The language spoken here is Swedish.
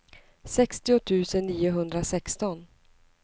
sextio tusen niohundrasexton